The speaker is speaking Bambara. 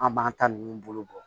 An b'an ta ninnu bolo bɔ